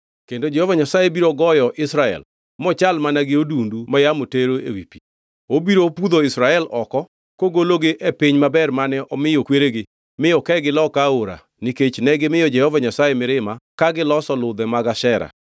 Kendo Jehova Nyasaye biro goyo Israel, mochal mana gi odundu ma yamo tero ewi pi. Obiro pudho Israel oko kogologi e piny maber mane omiyo kweregi mi okegi loka Aora nikech negimiyo Jehova Nyasaye mirima ka giloso ludhe mag Ashera.